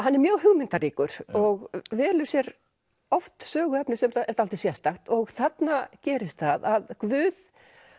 hann er mjög hugmyndaríkur og velur sér oft söguefni sem er dálítið sérstakt og þarna gerist það að Guð